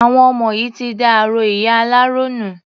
Àwọn ọmọ yìí ti da aró ìyá aláró nù.